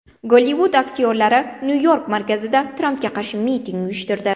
Gollivud aktyorlari Nyu-York markazida Trampga qarshi miting uyushtirdi.